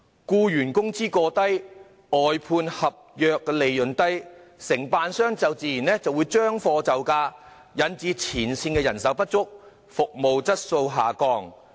僱員工資過低，外判合約利潤低，承辦商自然會將貨就價，引致前線人手不足，服務質素下降。